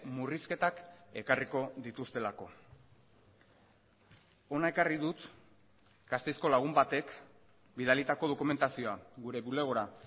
murrizketak ekarriko dituztelako hona ekarri dut gasteizko lagun batek bidalitako dokumentazioa gure bulegora